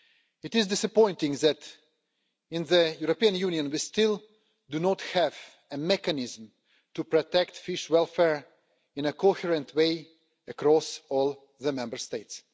It is disappointing that, in the European Union, we still do not have a mechanism to protect fish welfare in a coherent way throughout all the Member States.